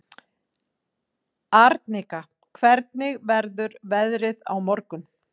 Arnika, hvernig verður veðrið á morgun?